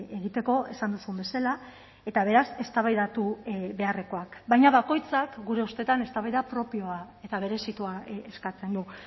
egiteko esan duzun bezala eta beraz eztabaidatu beharrekoak baina bakoitzak gure ustetan eztabaida propioa eta berezitua eskatzen du